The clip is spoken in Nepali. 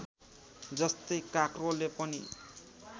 जस्तै काँक्रोले पनि